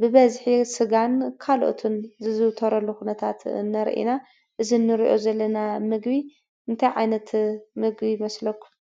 ብበዝሒ ስጋን ካሎኦትን ዝዝውተረሉ ኩነታት ንሪኢ ኢና ። እዚ እንሪኦ ዘለና ምግቢ እንታይ ዓይነት ምግቢ ይመስለኩም ?